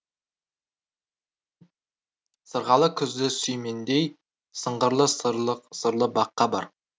сырғалы күзді сүй мендей сыңғырлы сырлы баққа бар